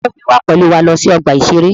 Ta ló fẹ́ wá pẹ̀lú wa lọ sí ọgbà-ìṣeré?